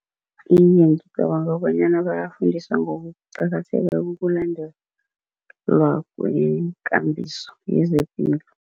Iye, ngicabanga bonyana bayafundiswa ngokuqakatheka kokulandela kwekambiso yezepilo.